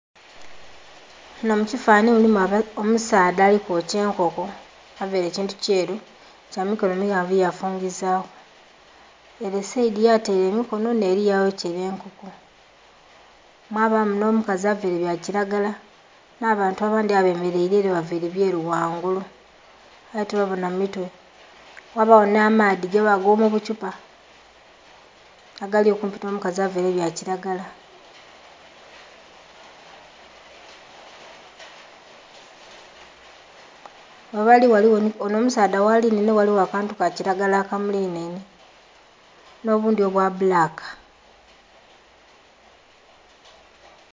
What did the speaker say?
Munho mu kifananhi mulimu omusaadha ali kwokya enkoko, avaire ekintu kyeru kya mikono maghanvu ya fungizaku ere saidhi ya taire emikonho nheri ya yokela enkoko, mwabamu nho mukazi avaire bya kilagala nha bantu abandhi abemereire ere bavaire byeru ghangulu aye tobabonha mitwe, ghabagho nha maadhi ago mu buthupa agali okumpi nho mukazi avaire ebya kilagala. Onho omusaadha ghalinhainhe ghaligho akantu ka kilagala aka mulinhainhe nho bundhi obwa bbulaka.